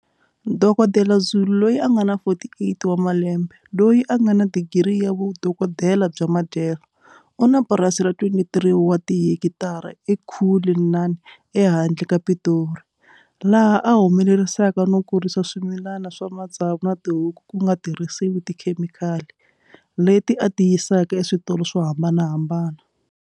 Dokotela Zulu, 48, loyi a nga na digiri ya vudokodela bya madyelo, u na purasi ra 23 wa tihekitara eCullinan ehandle ka Pitori, laha a humelerisaka no kurisa swimilana swa matsavu na tihuku ku nga tirhisiwi tikhemikali, leti a ti yisaka eswitolo swo hambanaha mbana.